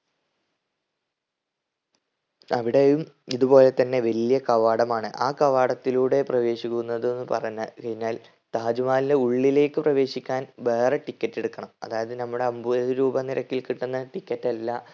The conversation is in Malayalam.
അവിടെയും ഇത് പോലെത്തന്നെ വലിയ കവാടമാണ് ആ കവാടത്തിലൂടെ പ്രവേശിക്കുന്നത്ന്ന് പറഞ്ഞ കഴിഞ്ഞാൽ താജ് മഹലിന്റെ ഉള്ളിലേക്ക് പ്രവേശിക്കാൻ വേറെ ticket എടുക്കണം. അതായത് നമ്മൾ അൻപത് രൂപ നിരക്കിൽ കിട്ടുന്ന ticket അല്ല